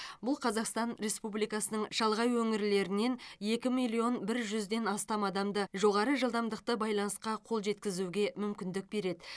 бұл қазақстан республикасының шалғай өңірлерінен екі миллион бір жүзден астам адамды жоғары жылдамдықты байланысқа қол жеткізуге мүмкіндік береді